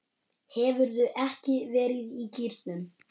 Hefurðu ekki verið í gírnum?